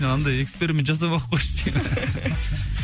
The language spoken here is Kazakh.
андай эксперимент жасамай ақ қойшы деймін